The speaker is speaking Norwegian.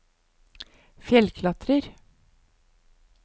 fjellklatrer